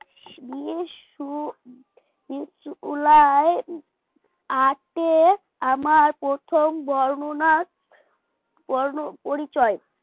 বিশু বিশু উলায় আটে আমার প্রথম বর্ণনা বর্ণপরিচয়